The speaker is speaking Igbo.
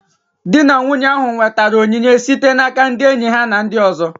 Di na nwunye ahụ nwetara onyinye site n'aka ndị enyi ha na ndị ọzọ